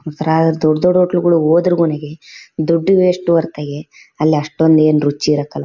ಈ ಥರಾ ದೊಡ್ಡ್ ದೊಡ್ಡ್ ಹೋಟೆಲ್ ಗಳಿಗೆ ಹೋದ್ರೆ ಕೊನೆಗೆ ದುಡ್ಡು ವೆಷ್ಟು ಹೊರತಾಗಿ ಅಲ್ಲಿ ಅಷ್ಟೋಂದು ಏನು ರುಚಿ ಇರಕಿಲ್ಲ.